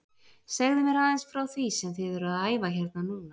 Segðu mér aðeins frá því sem þið eruð að æfa hérna núna?